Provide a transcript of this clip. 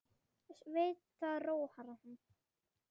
Veit að það róar hann.